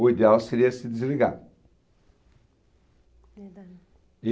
o ideal seria se desligar. Não dá. E